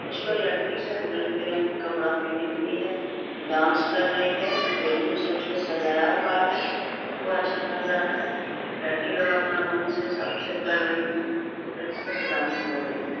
उसपर लड़की सब रंग बिरंगे कपड़ा पेहनी हुई है डांस कर रही है बैलून सब से सजाया हुआ है वो अच्छा लग रहा है। लड़की लोग अपना मन से सब कुछ कर रही है। बहुत अच्छा से डांस कर रही है।